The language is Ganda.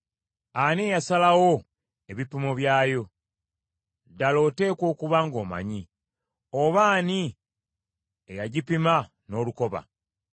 Ani eyasalawo ebipimo byayo? Ddala oteekwa okuba ng’omanyi! Oba ani eyagipima n’olukoba?